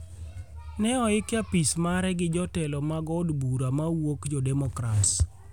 ne oik e apis mare gi jotelo mag od bura mawuok jo demokrats